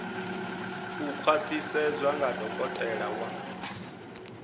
u khwaṱhisedzwa nga dokotela wa